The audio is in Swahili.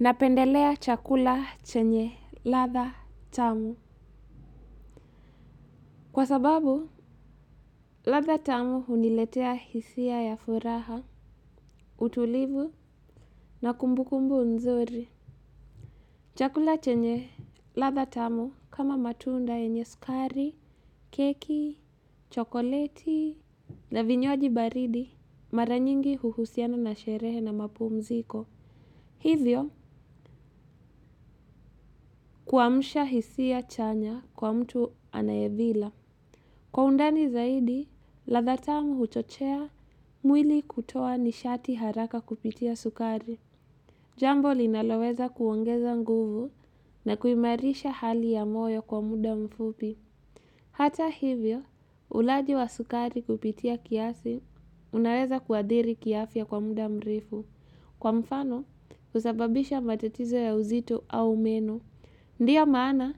Napendelea chakula chenye ladha tamu. Kwa sababu, ladha tamu huniletea hisia ya furaha, utulivu na kumbu kumbu nzuri. Chakula chenye ladha tamu kama matunda yenye sukari, keki, chokoleti. Na vinywaji baridi, maranyingi huhusiana na sherehe na mapumziko. Hivyo, kuamsha hisia chanya kwa mtu anayevila. Kwa undani zaidi, ladha tamu huchochea mwili kutoa nishati haraka kupitia sukari. Jambo linaloweza kuongeza nguvu na kuimarisha hali ya moyo kwa muda mfupi. Hata hivyo, ulaji wa sukari kupitia kiasi, unaweza kuadhiri kiafya kwa muda mrefu. Kwa mfano, usababisha matatizo ya uzito au meno. Ndiyo maana,